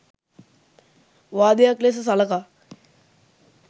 වාදයක් ලෙස සලකා